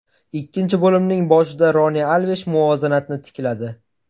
Ikkinchi bo‘limning boshida Roni Alvesh muvozanatni tikladi.